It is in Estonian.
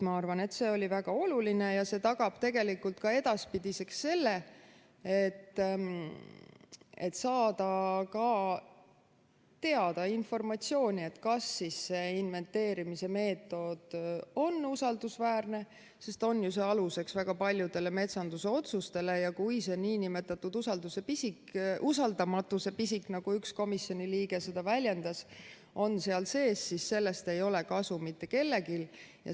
Ma arvan, et see oli väga oluline ja see tagab tegelikult ka edaspidiseks selle, et on võimalik saada informatsiooni, kas see inventeerimise meetod on usaldusväärne, sest on ju see aluseks väga paljudele metsanduse otsustele ja kui see nn usaldamatuse pisik, nagu üks komisjoni liige seda väljendas, on seal sees, siis sellest ei ole kasu mitte kellelegi.